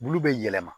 Bulu bɛ yɛlɛma